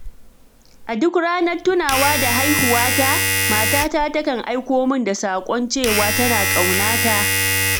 A duk ranar tunawa da haihuwata, matata takan aiko min da saƙon cewa, tana ƙauna ta.